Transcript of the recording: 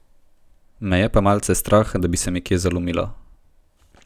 Me je pa malce strah, da bi se mi kje zalomilo.